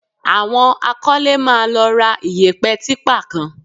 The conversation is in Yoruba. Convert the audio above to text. Àwọn akọ́lé máa lọ ra iyẹ̀pẹ̀ típà kan